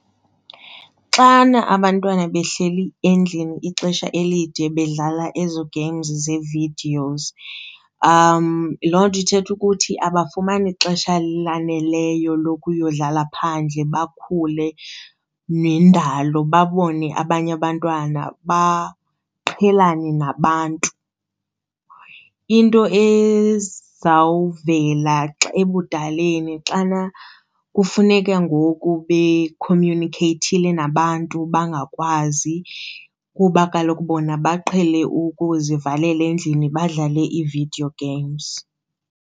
Xana abantwana behleli endlini ixesha elide bedlala ezo games ze-videos, loo nto ithetha ukuthi abafumani xesha laneleyo lokuya yodlala phandle bakhule nendalo, babone abanye abantwana, baqhelane nabantu. Into ezawuvela ebudaleni xana kufuneka ngoku bekhomyunikheyithile nabantu bangakwazi kuba kaloku bona baqhele ukuzivalela endlini badlale iividiyo games.